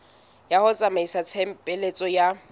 ya ho tsamaisa tshebeletso ya